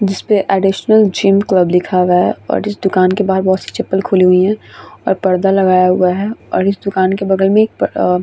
जिसपे additional gym club लिखा हुआ है और इस दुकान के बाहार बोहोत सारी चपल खुली हुई है और पर्दा लगाया हुआ है और इस दुकान के बगल मै एक अ--